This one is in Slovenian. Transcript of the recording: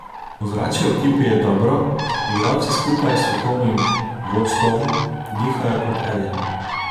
Ozračje v ekipi je dobro, igralci skupaj s strokovnim vodstovm dihajo kot eden.